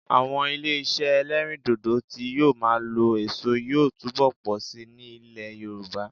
Àwọn ilé iṣẹ́ ẹlẹ́rìndòdò tí yóò máa lo èso yóò túbọ̀ pọ̀ síi ní ilẹ̀ Yorùbá